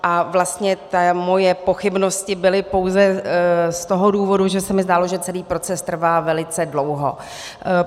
A vlastně moje pochybnosti byly pouze z toho důvodu, že se mi zdálo, že celý proces trvá velice dlouho.